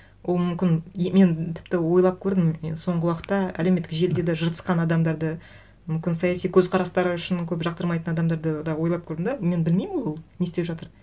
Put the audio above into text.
ол мүмкін мен тіпті ойлап көрдім мен соңғы уақытта әлеуметтік желіде де жыртысқан адамдарды мүмкін саяси көзқарастары үшін көп жақтырмайтын адамдарды да ойлап көрдім де мен білмеймін ол не істеп жатыр